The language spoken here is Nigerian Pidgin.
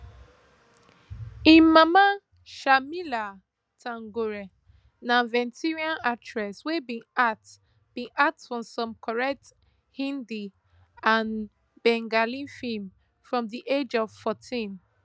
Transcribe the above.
im mama sharmila tagore na veteran actress wey bin act bin act for some correct hindi and bengali films from di age of fourteen